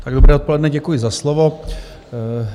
Dobré odpoledne, děkuji za slovo.